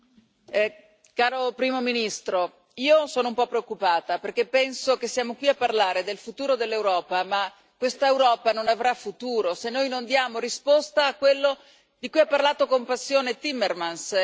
Signor Presidente, onorevoli colleghi, caro Primo ministro, io sono un po' preoccupata perché penso che siamo qui a parlare del futuro dell'Europa, ma questa Europa non avrà futuro se noi non diamo risposta a quello di cui ha parlato con passione Timmermans.